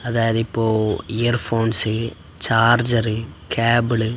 അതായതിപ്പോ ഇയർഫോൺസിൽ charger cable --